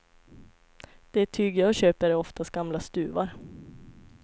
Det tyg jag köper är oftast gamla stuvar.